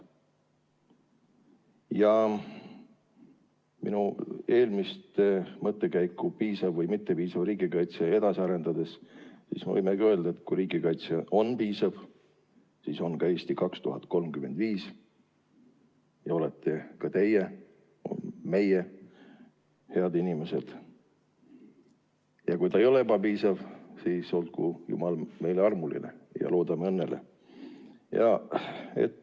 Minu eelmist mõttekäiku "piisav või mittepiisav riigikaitse" edasi arendades me võimegi öelda, et kui riigikaitse on piisav, siis on ka "Eesti 2035", ja olete ka teie, meie, head inimesed, ja kui ta ei ole piisav, siis olgu Jumal meile armuline ja loodame õnnele.